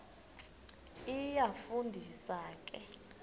iyafu ndisa ke